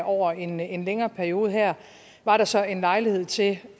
over en en længere periode og her var der så en lejlighed til